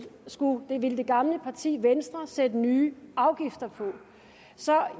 ville det gamle parti venstre sætte nye afgifter på så